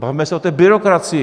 Bavme se o té byrokracii!